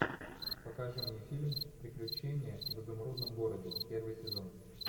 покажи мне фильм приключения в изумрудном городе первый сезон